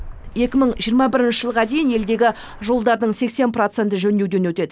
екі мың жиырма бірінші жылға дейін елдегі жолдардың сексен проценті жөндеуден өтеді